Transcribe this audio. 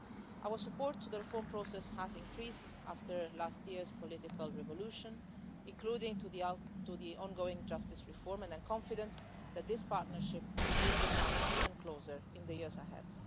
Our support to the reform process has increased after last year's political revolution, including to the ongoing justice reform and I am confident that this Partnership will become even closer in the years ahead.